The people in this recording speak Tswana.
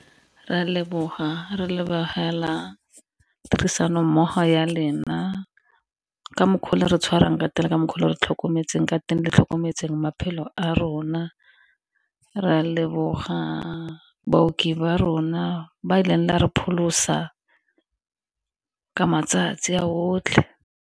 Re leboga re lebogela tirisano mmogo ya lena ka mokgwa le re tshwarang ka teng ka mokgwa o re tlhokometseng ka teng le tlhokometseng maphelo a rona. Re a leboga baoki ba rona ba e leng la re pholosa ya ka matsatsi a botlhe.